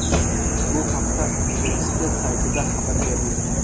Bu haqda universtitet saytida xabar berildi .